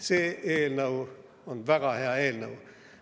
See eelnõu on väga hea eelnõu.